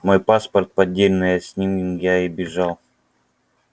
мой паспорт поддельный с ним я и бежал